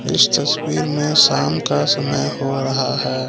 इस तस्वीर में शाम का समय हो रहा है।